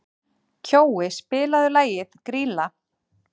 Kjói, spilaðu lagið „Grýla“.